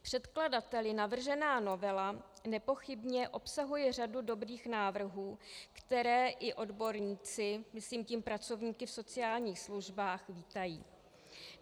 Předkladateli navržená novela nepochybně obsahuje řadu dobrých návrhů, které i odborníci - myslím tím pracovníky v sociálních službách - vítají.